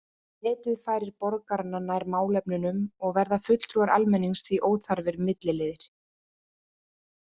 Netið færir borgarana nær málefnunum og verða fulltrúar almennings því óþarfir milliliðir.